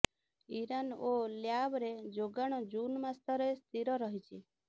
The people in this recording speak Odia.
ଇରାନ ଓ ଲିବ୍ୟାରେ ଯୋଗାଣ ଜୁନ ମାସରେ ସ୍ଥିର ରହିଛି